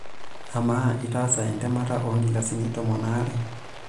Amaa, itaasa entemata oonkilasin tomon ooare?